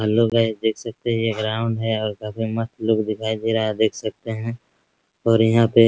hello guys देख सकते हैं ये ग्राउंड है और काफी मस्त लुक दिखाई दे रहा है आप देख सकते हैं और यहाँ पे --